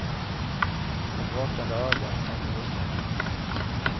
Ett vakande öga, tänkte hustrun.